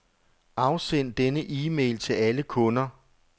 Afsend denne e-mail til alle kunder.